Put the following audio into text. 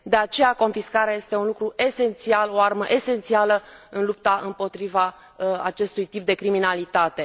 De aceea, confiscarea este un lucru esențial, o armă esențială în lupta împotriva acestui tip de criminalitate.